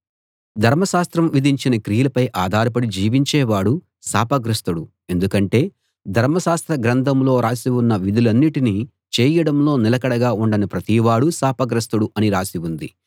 ధర్మశాస్త్రం విధించిన క్రియలపై ఆధారపడి జీవించే వాడు శాపగ్రస్తుడు ఎందుకంటే ధర్మశాస్త్ర గ్రంథంలో రాసి ఉన్న విధులన్నిటినీ చేయడంలో నిలకడగా ఉండని ప్రతివాడూ శాపగ్రస్తుడు అని రాసి ఉంది